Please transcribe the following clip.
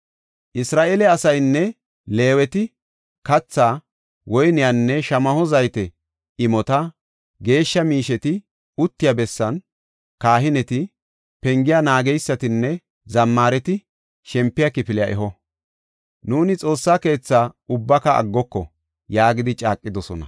Isra7eele asaynne Leeweti kathaa, woyniyanne shamaho zayte imota geeshsha miisheti uttiya bessaanne kahineti, pengiya naageysatinne zammaareti shempiya kifiliya eho. “Nuuni Xoossa keethaa ubbaka aggoko” yaagidi caaqidosona.